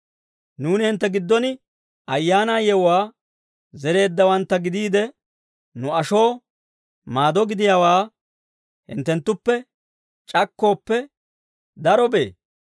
Nuuni hintte giddon ayaanaa yewuwaa zereeddawantta gidiide, nu ashoo maado gidiyaawaa hinttenttuppe c'akkooppe darobee?